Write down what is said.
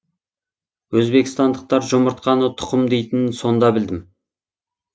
өзбекстандықтар жұмыртқаны тұқым дейтінін сонда білдім